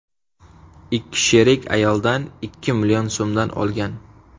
Ikki sherik ayoldan ikki million so‘m olgan.